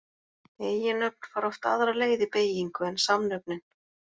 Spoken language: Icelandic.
Eiginnöfn fara oft aðra leið í beygingu en samnöfnin.